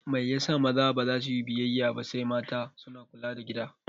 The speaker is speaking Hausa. Mai yasa maza baza suyi biyayya ba sai mata suna kula da gida?